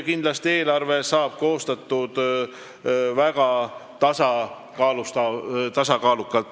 Kindlasti saab eelarve koostatud väga tasakaalukalt.